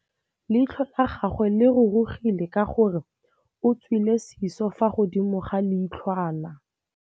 Leitlhô la gagwe le rurugile ka gore o tswile sisô fa godimo ga leitlhwana.